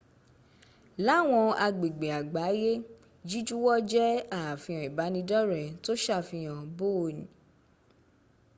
láwọn agbègbè àgbáyé jíjuwọ́ jẹ́ àfihan ìbánidọ́ọ̀rẹ́ tó sàfihàn bóon